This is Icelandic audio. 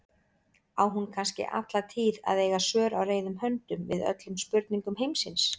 Á hún kannski alla tíð að eiga svör á reiðum höndum við öllum spurningum heimsins?